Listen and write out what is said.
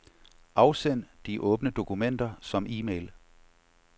Afsend de åbne dokumenter som e-mail.